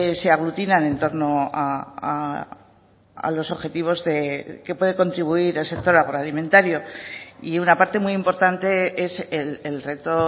se aglutinan en torno a los objetivos que puede contribuir el sector agroalimentario y una parte muy importante es el reto